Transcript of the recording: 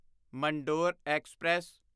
Mandore express